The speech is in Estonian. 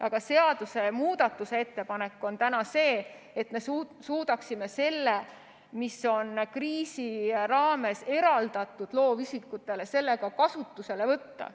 Aga seadusemuudatuse ettepanek on see, et me suudaksime selle raha, mis on kriisi raames loovisikutele eraldatud, ka kasutusele võtta.